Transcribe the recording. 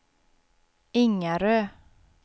Ingarö